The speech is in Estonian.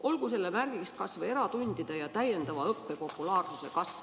Olgu selle märgiks kas või eratundide ja täiendava õppe populaarsuse kasv.